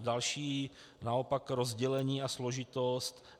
další naopak rozdělení a složitost.